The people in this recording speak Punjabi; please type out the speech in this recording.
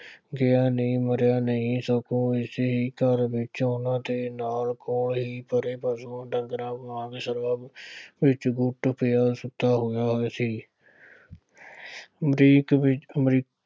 ਗਿਆ ਨਹੀਂ, ਮਰਿਆ ਨਹੀਂ, ਸਗੋ ਇਸੇ ਹੀ ਘਰ ਵਿੱਚ ਉਹਨਾ ਨਾਲ ਬਾਹਰ ਹੀ ਪਰੇ ਪਸ਼ੂ ਢੰਗਰਾਂ ਨਾਲ ਵਿੱਚ ਪਿਆ ਸੁੱਤਾ ਹੋਇਆਂ ਹੈ। ਦੇ ਵਿੱਚ ਅਮਰੀਕ